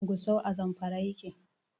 Gusau a Zamfara yake.